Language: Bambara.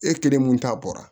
E kelen mun ta bɔra